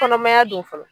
Kɔnɔmaya don fɔlɔ